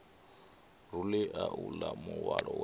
rulea uḽa muhwalo we a